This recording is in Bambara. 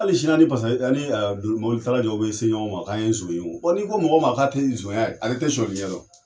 Hali sini ani ani mobilitala jɔ bɛ se ɲɔgɔn ma k'an ye nson ye. n'i ko mɔgɔ ma k'a tɛ sonya ale tɛ suyɛnli ɲɛ dɔn.